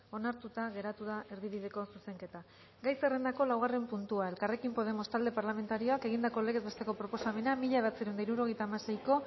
onartuta geratu da erdibideko zuzenketa gai zerrendako laugarren puntua elkarrekin podemos talde parlamentarioak egindako legez besteko proposamena mila bederatziehun eta hirurogeita hamaseiko